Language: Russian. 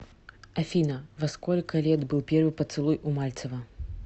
афина во сколько лет был первый поцелуй у мальцева